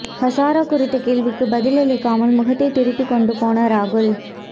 ஹஸாரே குறித்த கேள்விக்குப் பதிலளிக்காமல் முகத்தை திருப்பிக் கொண்டு போன ராகுல்